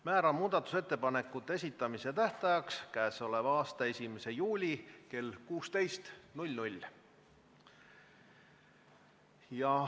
Määran muudatusettepanekute esitamise tähtajaks k.a 1. juuli kell 16.